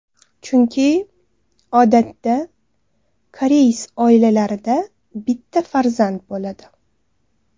Chunki, odatda, koreys oilalarida bitta farzand bo‘ladi.